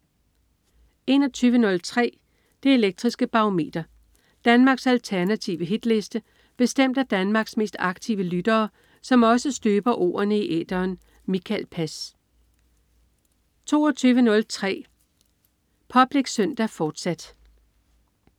21.03 Det Elektriske Barometer. Danmarks alternative hitliste bestemt af Danmarks mest aktive lyttere, som også støber ordene i æteren. Mikael Pass 22.03 Public Søndag, fortsat